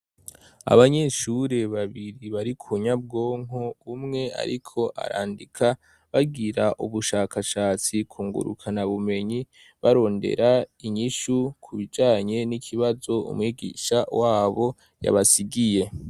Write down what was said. Abanyeshuri babiri bari ku nyabwonko, umwe ariko arandika bagira ubushakashatsi ku ngurukana bumenyi barondera inyishu ku bijanye n'ikibazo umwigisha wabo yabasigiye.